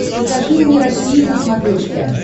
покажи мне россия на смотрешке